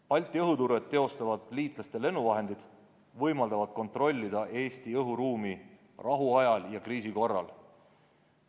Balti õhuturvet teostavad liitlaste lennuvahendid võimaldavad kontrollida Eesti õhuruumi rahuajal ja kriisi korral.